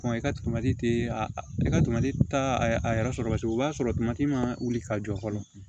i ka tomati i ka ta a yɛrɛ sɔrɔ paseke o b'a sɔrɔ ma wuli ka jɔ fɔlɔ